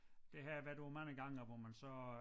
Det har jeg været på mange gange hvor man så